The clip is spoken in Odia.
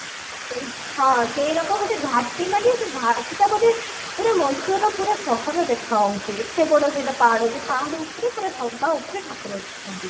ସେଇ ହଁ ସେଇରକ ଗୋଟେ ଘାଟି ମାନେ ସେ ଘାଟି ଟା ବୋଧେ ପୁରା ମଏଶ୍ଵରର ପୁରା ସହର ଦେଖା ଯାଉଛି ଏତେ ବଡ ସେଇଟା ପାହାଡ ସେଇ ପାହାଡ ଉପରେ ପୁରା ସବା ଉପରେ ଠାକୁର ଅଛନ୍ତି